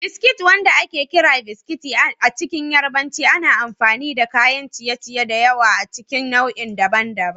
Biskit, wanda ake kira "Biskiti" a cikin Yarbanci, ana amfani da kayan ciye-ciye da yawa a cikin nau'i daban-daban.